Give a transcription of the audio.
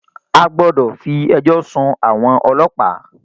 A gbọ́dọ̀ fí ẹjọ́ sún àwọn ọlọ́pàá!